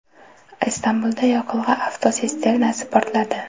Istanbulda yoqilg‘i avtotsisternasi portladi.